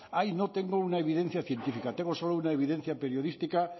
ahí no tengo una evidencia científica tengo solo una evidencia periodística